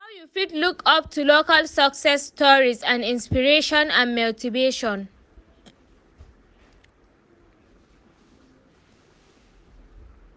How you fit look up to local success stories as inspiration and motivation?